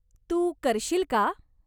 तू करशील का?